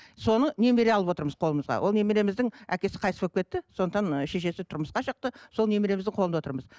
соны немере алып отырмыз қолымызға ол немереміздің әкесі қайтыс болып кетті сондықтан ы шешесі тұрмысқа шықты сол немереміздің қолынды отырмыз